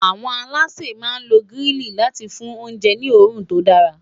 àwọn aláṣẹ má n ló grili láti fún oúnjẹ ní orun tó dara